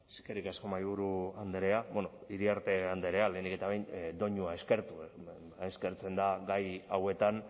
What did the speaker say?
eskerrik asko mahaiburu andrea iriarte andrea lehenik eta behin doinua eskertu eskertzen da gai hauetan